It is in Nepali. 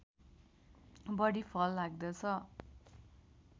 बढी फल लाग्दछ